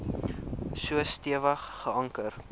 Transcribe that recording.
so stewig geanker